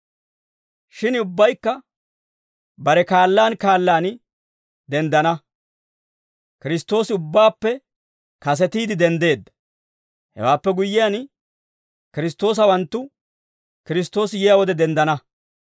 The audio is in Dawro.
Shin ubbaykka bare kaallaan kaallaan denddana. Kiristtoosi ubbaappe kasetiide denddeedda; hewaappe guyyiyaan, Kiristtoosawanttu Kiristtoosi yiyaa wode denddana.